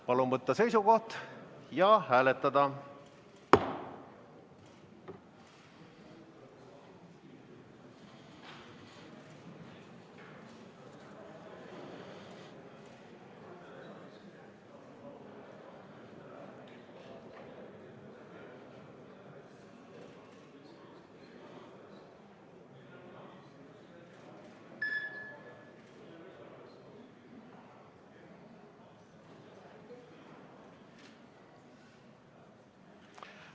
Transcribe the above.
Palun võtta seisukoht ja hääletada!